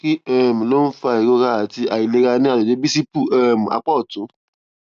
kí um ló ń fa ìrora àti àìlera ní àgbègbè bísípù um apá òtún